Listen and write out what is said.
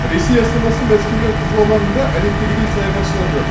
ресей астанасы мәскеудің қызыл алаңында әдеттегідей саяхатшылар көп